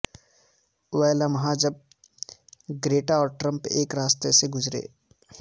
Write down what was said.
وہ لمحہ جب گریٹا اور ٹرمپ ایک راستے سے گزرے